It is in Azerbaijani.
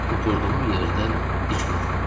Oturduğum yerdən dik qalxdım.